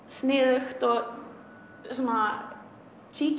sniðugt og svona